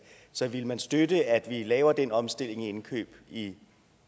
så vil man støtte at vi laver den omstilling af indkøb i